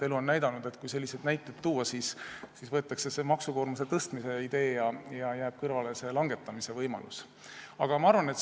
Elu on näidanud, et kui selliseid näiteid tuua, siis võetakse üle maksukoormuse tõstmise idee ja langetamise võimalus jääb kõrvale.